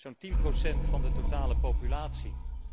Zo'n tien procent van de totale populatie.